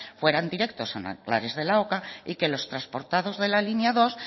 fueran directos a nanclares de la oca y que los transportados de la línea dos